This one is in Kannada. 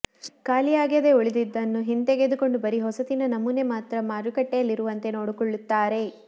ಖಾಲಿಯಾಗದೆ ಉಳಿದಿದ್ದನ್ನು ಹಿಂತೆಗೆದುಕೊಂಡು ಬರಿ ಹೊಸತಿನ ನಮೂನೆ ಮಾತ್ರ ಮಾರುಕಟ್ಟೆಯಲ್ಲಿರುವಂತೆ ನೋಡಿಕೊಳ್ಳುತ್ತಾರೆ